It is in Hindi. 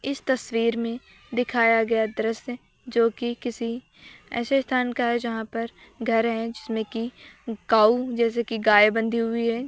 इस तस्वीर में दिखाया गया दृश्य जो कि किसी ऐसे स्थान का है जहां पर घर है जिसमें कि काऊ जैसे कि गाय बंधी हुई है।